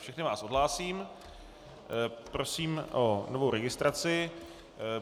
Všechny vás odhlásím, prosím o novou registraci.